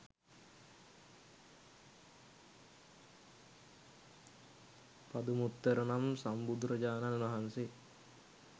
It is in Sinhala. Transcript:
පදුමුත්තර නම් සම්බුදුරජාණන් වහන්සේ